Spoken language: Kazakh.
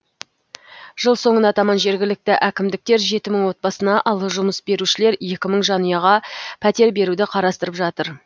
жыл соңына таман жергілікті әкімдіктер жеті мың отбасына ал жұмыс берушілер екі мың жанұяға пәтер беруді қарастырып жатыр